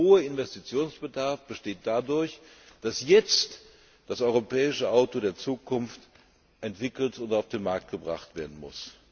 Und dieser hohe Investitionsbedarf besteht dadurch, dass jetzt das europäische Auto der Zukunft entwickelt und auf den Markt gebracht werden muss.